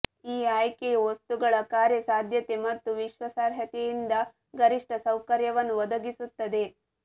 ಈ ಆಯ್ಕೆಯು ವಸ್ತುಗಳ ಕಾರ್ಯಸಾಧ್ಯತೆ ಮತ್ತು ವಿಶ್ವಾಸಾರ್ಹತೆಯಿಂದ ಗರಿಷ್ಟ ಸೌಕರ್ಯವನ್ನು ಒದಗಿಸುತ್ತದೆ